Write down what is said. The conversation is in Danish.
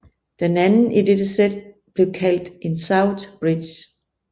Den anden i dette sæt blev kaldt en southbridge